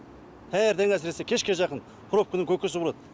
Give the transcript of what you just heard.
таңертең әсіресе кешке жақын пробканың көкесі болады